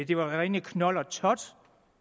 det rene knold og tot